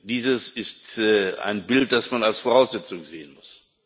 Dies ist ein Bild, das man als Voraussetzung sehen muss.